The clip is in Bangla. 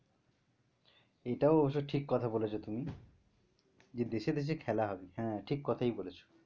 এটাও অবশ্য ঠিক কথা বলছো তুমি যে দেশে খেলা হবে। হ্যাঁ ঠিক কোথায় বলেছো।